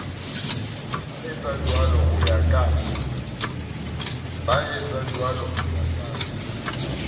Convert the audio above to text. ba etsajwalo ho ya ka